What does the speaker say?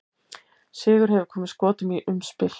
Sigur hefði komið Skotum í umspil.